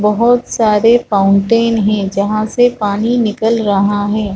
बहुत सारे फाउंटेन है जहाँ से पानी निकल रहा है।